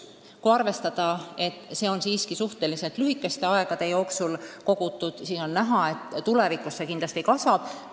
Kui arvestada, et see on siiski suhteliselt lühikese aja jooksul kogutud, siis on selge, et tulevikus see kindlasti kasvab.